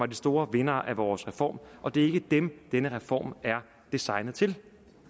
de store vindere af vores reform og det er ikke dem denne reform er designet til